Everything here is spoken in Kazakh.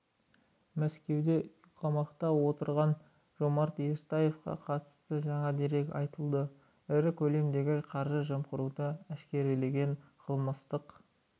мәскеуде үй қамақта отырған жомарт ертаевқа қатысты жаңа дерек айтылды ірі көлемдегі қаржы жымқыруды әшкерелеген қылмыстық